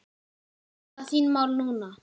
Hvernig standa þín mál núna?